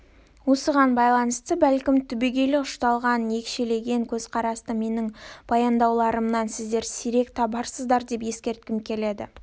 осыған байланысты бәлкім түбегейлі ұшталған екшелген көзқарасты менің баяндауларымнан сіздер сирек табарсыз деп ескерткім келеді